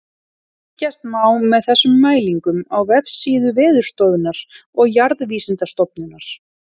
Fylgjast má með þessum mælingum á vefsíðum Veðurstofunnar og Jarðvísindastofnunar.